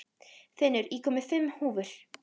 Finnur, ég kom með fimm húfur!